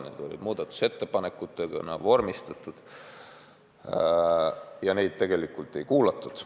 Need olid muudatusettepanekutena vormistatud, aga neid tegelikult ei kuulatud.